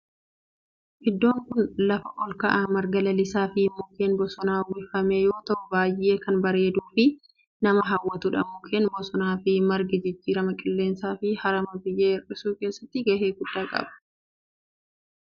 Iddoon kun lafa olka'aa marga lalisaa fi mukkeen bosonaan uwwifame yoo ta'u baayyee kan bareeduu fi nama hawwatudha. mukkeen bosonaa fi margi jijjiirama qilleensaa fi harama biyyee hir'isu keessatti gahee guddaa qabu.